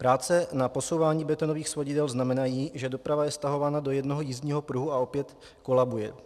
Práce na posouvání betonových svodidel znamenají, že doprava je stahována do jednoho jízdního pruhu a opět kolabuje.